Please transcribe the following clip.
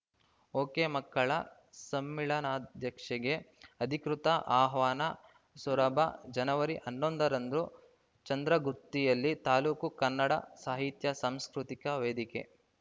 ಒಕೆಮಕ್ಕಳ ಸಮ್ಮೇಳನಾಧ್ಯಕ್ಷೆಗೆ ಅಧಿಕೃತ ಆಹ್ವಾನ ಸೊರಬ ಜನವರಿ ಹನ್ನೊಂದರಂದು ಚಂದ್ರಗುತ್ತಿಯಲ್ಲಿ ತಾಲೂಕು ಕನ್ನಡ ಸಾಹಿತ್ಯ ಸಾಂಸ್ಕೃತಿಕ ವೇದಿಕೆ